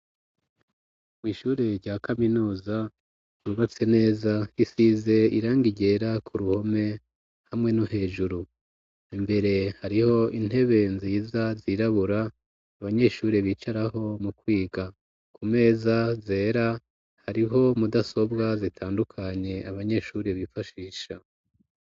Kw'ishure rya kaminuza ryubatse neza risize irangi ryera ku ruhome hamwe no hejuru . Imbere hariho intebe nziza zirabura abanyeshuri bicaraho mu kwiga kumeza zera hariho mudasobwa zitandukanye abanyeshuri bifashisha.